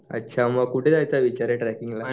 अच्छा कुठे जायचं पण ट्रेकिंगला